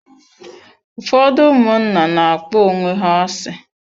Ụfọdụ ụmụnna na-akpọ onwe ha asị.